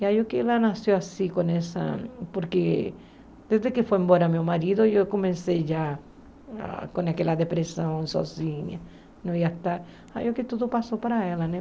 E aí é que ela nasceu assim, com essa... Porque desde que foi embora meu marido, eu comecei já com aquela depressão sozinha, não ia estar... Aí é que tudo passou para ela, né?